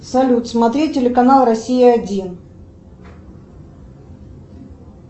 салют смотреть телеканал россия один